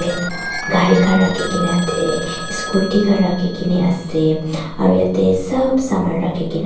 gari khan rakhi kaena atae scooty khan rakhikaena ase aro yatae sop saman rakhikaena.